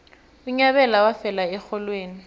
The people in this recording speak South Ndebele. unyabela wafela erholweni